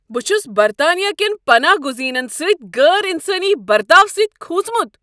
بہٕ چھس برطانیہ کین پناہ گزینن سۭتۍ غیر انسانی برتاو سۭتۍ کھوژمت۔